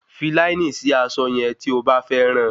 Fi láínì sí aṣọ yẹn tí o bá fẹ́ ran